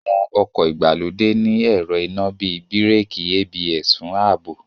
Àwọn ọkọ̀ ìgbàlódé ní ẹ̀rọ iná bíi Bíràkì ABS fún ààbò